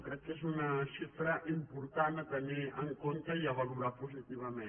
crec que és una xifra important a tenir en compte i a valorar positivament